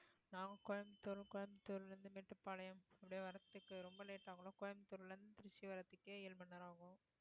நாங்க கோயம்புத்தூர் கோயம்புத்தூர்ல இருந்து மேட்டுப்பாளையம் அப்படி வரதுக்கு ரொம்ப late ஆகும்ல கோயம்புத்தூர்ல இருந்து திருச்சி வர்றதுக்கே ஏழு மண் நேரம் ஆகும்